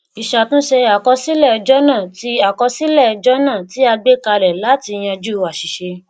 ìṣàtúnṣe àkọsílẹ jọnà tí àkọsílẹ jọnà tí a gbékalẹ láti yanjú àṣìṣe